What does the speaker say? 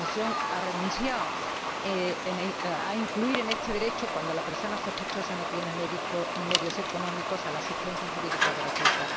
La Comisión ha renunciado a incluir en este derecho, cuando la persona sospechosa no tiene medios económicos, la asistencia jurídica gratuita.